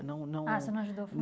Não não ah, você não ajudou a